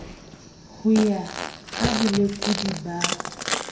ho ya ka bolekodi ba